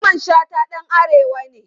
Mamman Shata dan arewa ne.